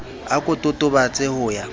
a ko totobatse ho ya